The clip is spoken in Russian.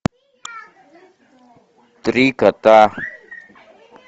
три кота